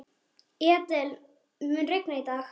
Edel, mun rigna í dag?